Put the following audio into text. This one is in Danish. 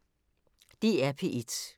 DR P1